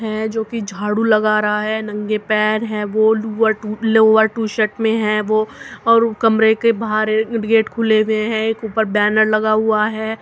है जोकि जाडू लगा रहा है। नंगे पैर है। वो लोअर टू- लूवरटु लोअर टी शर्ट मे है वो और उ कमरे के बाहर अ गेट खुले हुए है। एक ऊपर बैनर लगा हुआ है।